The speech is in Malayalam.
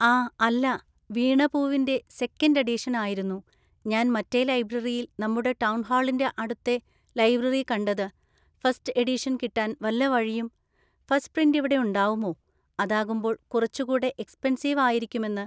ആ അല്ല വീണ പൂവിൻ്റെ സെക്കൻഡ് എഡിഷൻ ആയിരുന്നു ഞാൻ മറ്റേ ലൈബ്രറിയിൽ നമ്മുടെ ടൗൺ ഹാളിൻ്റെ അവിടുത്തെ ലൈബ്രറി കണ്ടത് ഫസ്റ്റ് എഡിഷൻ കിട്ടാൻ വല്ല വഴിയും ഫസ്റ്റ് പ്രിന്റിവിടെയുണ്ടാവുമോ അതാകുമ്പോൾ കുറച്ചുകൂടെ എക്സ്പെൻസീവ് ആയിക്കുമെന്ന്.